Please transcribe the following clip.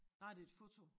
Nej det et foto